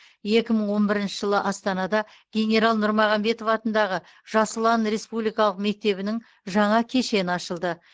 екі мың он бірінші жылы астанада генерал нұрмағамбетов атындағы жас ұлан республикалық мектебінің жаңа кешені ашылды